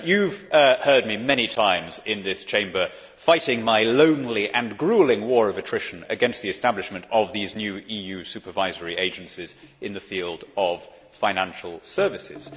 Mr President, you have heard me many times in this Chamber fighting my lonely and gruelling war of attrition against the establishment of these new EU supervisory agencies in the field of financial services.